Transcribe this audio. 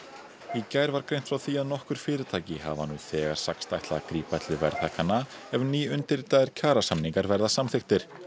í gær var greint frá því að nokkur fyrirtæki hafa nú þegar sagst ætla að grípa til verðhækkana ef nýundirritaðir kjarasamningar verða samþykktir